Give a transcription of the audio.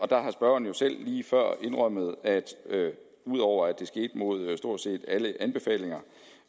der har spørgeren selv lige før indrømmet at ud over at det skete mod stort set alle anbefalinger